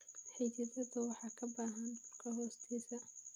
Xididdadu waxay ka baxaan dhulka hoostiisa.